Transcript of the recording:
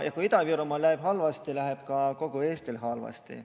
Kui Ida-Virumaal läheb halvasti, läheb ka kogu Eestil halvasti.